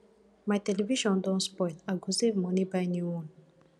my television don spoil i go save moni buy new one